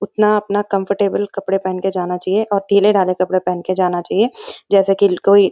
उतना अपना कम्फर्टेबले कपड़े पहन के जाना चाहिए और ढीले-ढाले कपड़े पहन के जाना चाहिए जैसा की कोई --